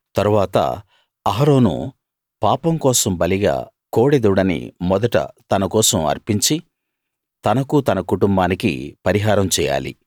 తరువాత అహరోను పాపం కోసం బలిగా కోడెదూడని మొదట తన కోసం అర్పించి తనకూ తన కుటుంబానికీ పరిహారం చేయాలి